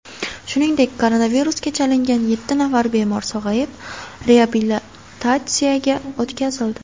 Shuningdek, koronavirusga chalingan yetti nafar bemor sog‘ayib, reabilitatsiyaga o‘tkazildi .